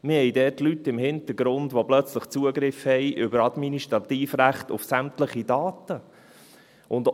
Wir haben dort Leute im Hintergrund, die plötzlich über Administrativrechte Zugriff auf sämtliche Daten haben.